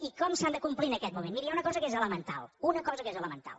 i com s’han de complir en aquest moment miri hi ha una cosa que és elemental una cosa que és elemental